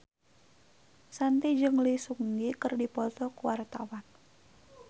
Shanti jeung Lee Seung Gi keur dipoto ku wartawan